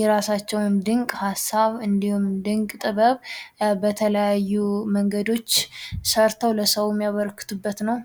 የራሳቸውን ድንቅ ሃሳብ እንዲሁም፤ ድንቅ ጥበብ በተለያዩ መንገዶች ሰርተው ለሰው የበረከቱበት ነው።